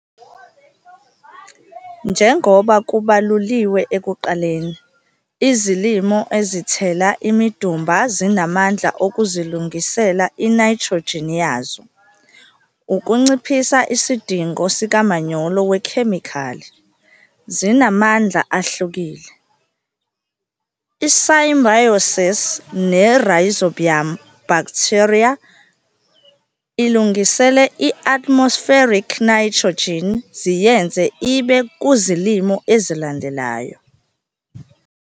Njengoba kubaluliwe ekuqaleni, izilimo ezithela imidumba zinamandla okuzilungisela inayithrojini yazo, N, ukunciphisa isidingo sikamanyolo wekhemikhali. Zinamandla ahlukile, i-symbioses ne-Rhizobium bakthitheriya, ilungise i-atmospheric nayithrojini ziyenze ibe kuzilimo ezilandelayo.